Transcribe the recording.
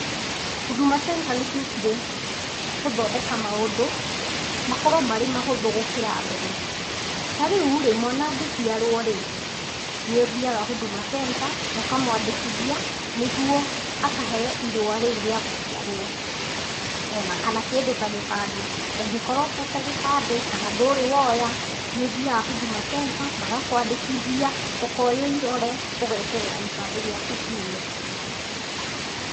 Huduma Center nĩciokire gũthondeka maũndũ makorwo marĩ mahũthũ gũkĩra mbere. Tarĩurĩ, mwana angĩciarũo rĩ, nĩ ũthiaga Huduma Centerũkamwandĩkithia nĩguo akaheo irũa rĩũ rĩa gũciarwo ona kana kĩndũ ta gĩbandĩ, ũngĩkorwo ũtete gĩbandĩ kana ndũrĩ woya nĩũthiaga Huduma Center magakwandĩkitha ũkoywo ĩrore ũgeterera gĩbandĩ giaku kiume.